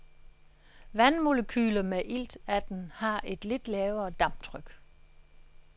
Vandmolekyler med iltatten har et lidt lavere damptryk.